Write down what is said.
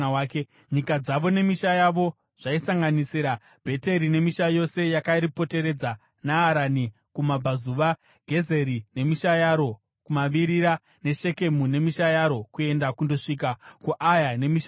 Nyika dzavo nemisha yavo zvaisanganisira Bheteri nemisha yose yakaripoteredza, Naarani kumabvazuva, Gezeri nemisha yaro, kumavirira neShekemu nemisha yaro kuenda kunosvika kuAya nemisha yaro.